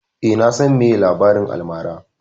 Eh, na san meye labarin almara